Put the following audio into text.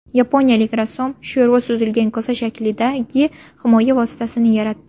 Yaponiyalik rassom sho‘rva suzilgan kosa shaklidagi himoya vositasini yaratdi .